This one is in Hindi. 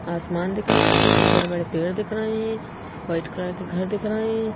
आसमान दिख रहा है कुछ बड़े-बड़े पेड़ दिख रहे हैं वाइट कलर के घर दिख रहे हैं।